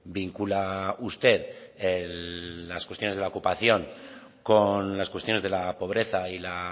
vincula usted las cuestiones de la ocupación con las cuestiones de la pobreza y la